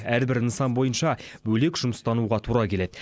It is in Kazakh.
әрбір нысан бойынша бөлек жұмыстануға тура келеді